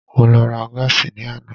Mo lọ ra gáàsì ní àná.